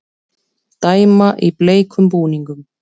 Dæma í bleikum búningum